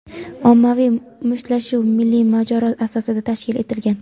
ommaviy mushtlashuv milliy mojaro asosida tashkil etilgan.